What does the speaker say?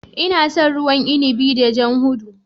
Ina son ruwan inibi da jan duhu.